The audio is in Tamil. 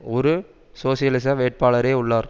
ஒரு சோசியலிச வேட்பாளரே உள்ளார்